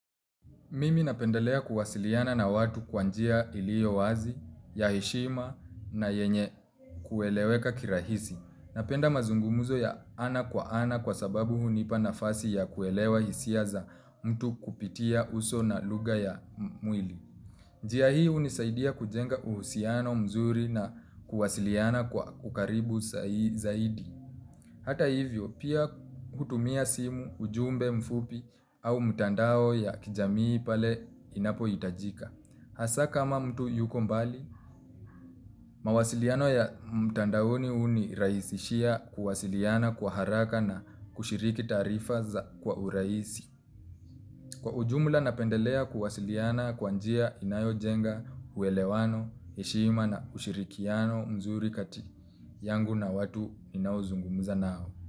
Mimi napendelea kuwasiliana na watu kwa njia ilio wazi, ya heshima na yenye kueleweka kirahisi. Napenda mazungumzo ya ana kwa ana kwa sababu hunipa nafasi ya kuelewa hisia za mtu kupitia uso na lugha ya mwili. Njia hii unisaidia kujenga uhusiano mzuri na kuwasiliana kwa ukaribu zaidi. Hata hivyo, pia hutumia simu ujumbe mfupi au mtandao ya kijamii pale inapo itajika. Hasa kama mtu yuko mbali, mawasiliano ya mtandaoni unirahisishia kuwasiliana kwa haraka na kushiriki taarifa za kwa hurahisi. Kwa ujumla napendelea kuwasiliana kwa njia inayojenga uelewano, heshima na ushirikiano mzuri kati yangu na watu ninao zungumza nao.